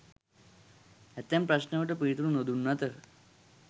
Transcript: ඇතැම් ප්‍රශ්නවලට පිළිතුරු නොදුන් අතර